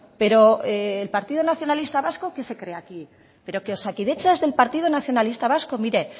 pero el partido nacionalista vasco qué se cree aquí pero osakidetza es del partido nacionalista vasco mire